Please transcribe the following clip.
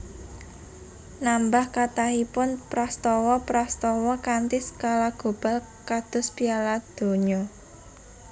Nambah kathahipun prastawa prastawa kanthi skala global kados Piala Donya